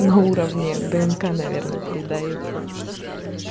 на уровне днк наверное передаётся